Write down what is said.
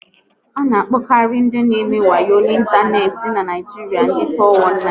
A na akpokari ndị n'eme wayo n'Ịntaneti n'Naijiria ndị four one nine